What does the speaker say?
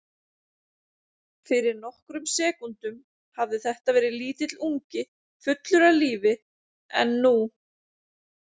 Fyrir nokkrum sekúndum hafði þetta verið lítill ungi fullur af lífi en nú.